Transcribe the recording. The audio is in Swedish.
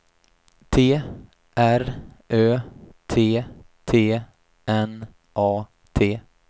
T R Ö T T N A T